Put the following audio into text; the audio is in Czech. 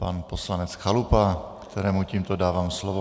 Pan poslanec Chalupa, kterému tímto dávám slovo.